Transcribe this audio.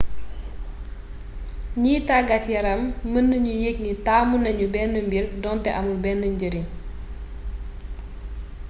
gniy taggat yaram mën na ñoo yéeg ni taamunañu bénn mbiir donté amul bénn njariñ